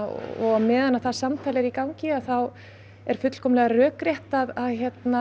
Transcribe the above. og á meðan það samtal er í gangi er fullkomlega rökrétt að